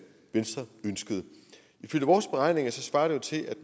venstre ønskede ifølge vores beregninger svarer det til at